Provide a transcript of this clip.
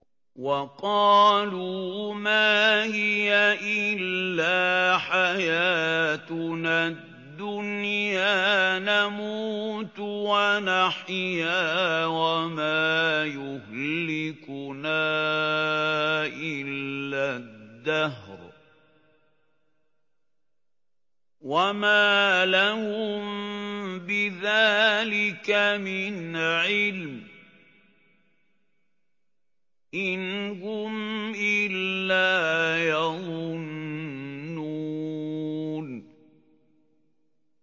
وَقَالُوا مَا هِيَ إِلَّا حَيَاتُنَا الدُّنْيَا نَمُوتُ وَنَحْيَا وَمَا يُهْلِكُنَا إِلَّا الدَّهْرُ ۚ وَمَا لَهُم بِذَٰلِكَ مِنْ عِلْمٍ ۖ إِنْ هُمْ إِلَّا يَظُنُّونَ